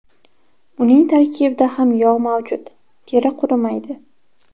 Uning tarkibida ham yog‘ mavjud, teri qurimaydi.